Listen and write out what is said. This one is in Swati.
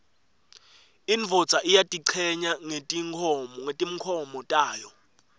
indvodza iyatichenya ngetimkhomo tayo